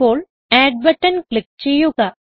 ഇപ്പോൾ add button click ചെയ്യുക